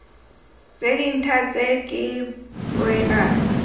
tse dintha tse ke poelano